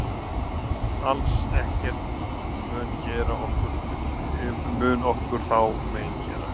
Alls ekkert mun okkur þá mein gera.